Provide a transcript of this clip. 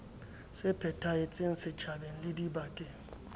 se phethahetseng setjhabeng le dibakeng